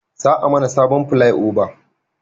Za a mana sabon filai oba